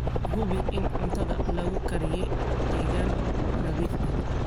Hubi in cuntada lagu kariyey deegaan nadiif ah.